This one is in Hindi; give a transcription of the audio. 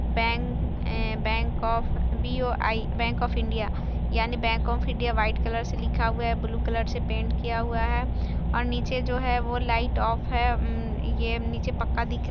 Bank a bank of BOI. Bank of India यानी bank of India white colour से लिखा हुआ हैं ब्लू कलर से पेंट किया हुआ है और नीचे जो है वो लाइट ऑफ है उम ये नीचे पक्का दिख --